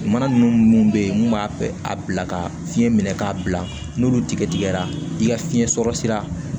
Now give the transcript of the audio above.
Mana ninnu munnu be yen mun b'a a bila ka fiɲɛ minɛ k'a bila n'olu tigɛ tigɛra i ka fiɲɛ sɔrɔ sira